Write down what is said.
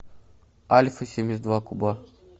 альфа семьдесят два куба